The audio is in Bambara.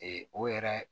o yɛrɛ